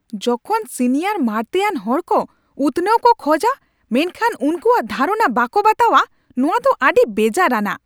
ᱡᱚᱠᱷᱚᱱ ᱥᱤᱱᱤᱭᱟᱨ ᱢᱟᱲᱛᱮᱭᱟᱱ ᱦᱚᱲ ᱠᱚ ᱩᱛᱱᱟᱹᱣ ᱠᱚ ᱠᱷᱚᱡᱟ ᱢᱮᱱᱠᱷᱟᱱ ᱩᱱᱠᱩᱣᱟᱜ ᱫᱷᱟᱨᱚᱱᱟ ᱵᱟᱠᱚ ᱵᱟᱛᱟᱣᱟ ᱱᱚᱶᱟ ᱫᱚ ᱟᱹᱰᱤ ᱵᱮᱡᱟᱨᱟᱱᱟᱜ ᱾